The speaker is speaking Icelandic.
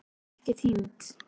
Var ekki týnd